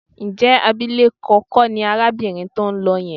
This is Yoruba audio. Ǹjẹ́ abilékọ kọ́ ni arábìnrin tó ń lọ yẹn?